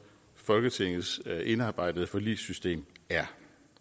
folketingets indarbejdede forligssystem er